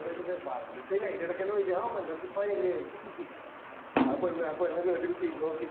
പറഞ്ഞിട്ട് ഇല്ല അയിന്റെ ഇടക്ക് തന്നെ പോയിട്ട് ആ മഞ്ഞ കുപ്പായം ഇല്ലേ ന്ന്ആ പെണ്ണ് ആ പെണ്ണ് കേട്ടിട്ട് തിരിഞ്ഞു നോക്കീൻഡ്